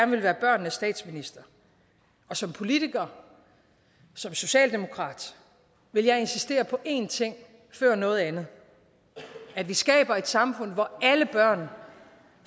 vil være børnenes statsminister som politiker som socialdemokrat vil jeg insistere på én ting før noget andet at vi skaber et samfund hvor alle børn